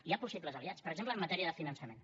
hi ha possibles aliats per exemple en matèria de finançament